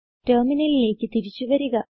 ടെർമിനലിലേക്ക് തിരിച്ചു വരിക